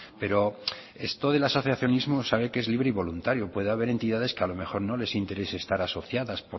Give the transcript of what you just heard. pero esto del asociacionismo sabe que es libre y voluntario puede haber entidades que a lo mejor no les interés estar asociadas